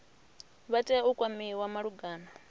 vha tea u kwamiwa malugana